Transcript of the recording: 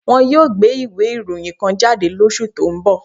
Wọ́n yóò gbé ìwé ìròyìn kan jáde lóṣù tó ń bọ̀